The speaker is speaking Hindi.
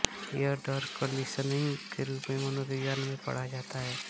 यह डर कंडीशनिंग के रूप में मनोविज्ञान में पढ़ा जाता है